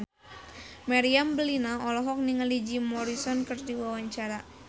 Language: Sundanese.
Meriam Bellina olohok ningali Jim Morrison keur diwawancara